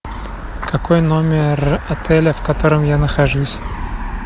какой номер отеля в котором я нахожусь